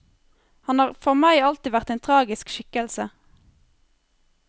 Han har for meg alltid vært en tragisk skikkelse.